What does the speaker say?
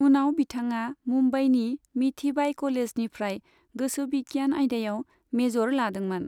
उनाव बिथाङा मुंबाईनि मिठीबाई कलेजनिफ्राय गोसोबिगियान आयदायाव मेजर लादोंमोन।